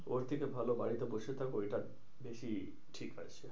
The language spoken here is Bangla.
ওর থেকে ভালো বাড়িতে বসে থাকো ঐটা বেশি ঠিক হবে।